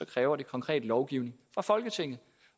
kræver det konkret lovgivning fra folketinget